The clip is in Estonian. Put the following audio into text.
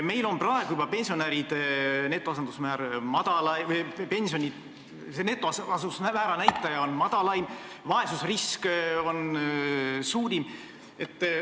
Meil on juba praegu pensioni netoasendusmäära näitaja madalaim ja vaesusrisk suurim.